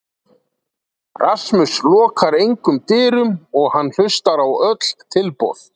Rasmus lokar engum dyrum og hann hlustar á öll tilboð.